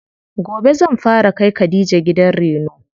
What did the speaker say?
Gobe zan fara kai khadija gidan reno.